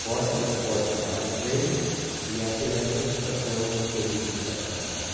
Ford é a Ford que dava o prêmio e a cesp é a Associação dos cronistas do Estado de São Paulo.